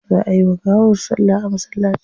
Za ayi wa gawar salla a masallaci.